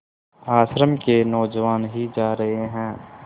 आश्रम के नौजवान ही जा रहे हैं